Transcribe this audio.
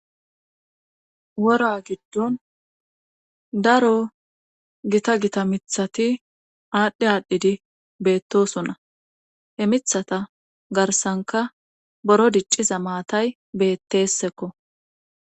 Wora giddon daro gita gita mithati aadhdhe aadhdhidi beettosonna he mithata garsanka boro dicciza maatay bettesekko.